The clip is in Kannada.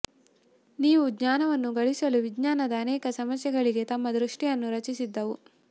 ನೀವು ಜ್ಞಾನವನ್ನು ಗಳಿಸಲು ವಿಜ್ಞಾನದ ಅನೇಕ ಸಮಸ್ಯೆಗಳಿಗೆ ತಮ್ಮ ದೃಷ್ಟಿಯನ್ನು ರಚಿಸಿದ್ದವು